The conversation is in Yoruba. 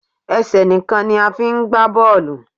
Ẹsẹ̀ nìkan ni a fi ń gba bọ́ọ́lù.